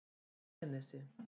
Eyjanesi